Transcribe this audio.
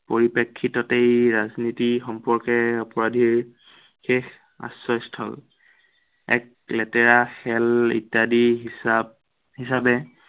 পৰিপ্ৰেক্ষিততেই ৰাজনীতি সম্পৰ্কে অপৰাধীৰ শেষ আশ্ৰয়স্থল এক লেতেৰা খেল ইত্য়াদি হিচাপ, হিচাপে